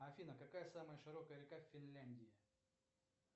афина какая самая широкая река в финляндии